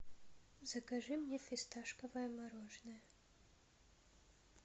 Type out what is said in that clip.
закажи мне фисташковое мороженое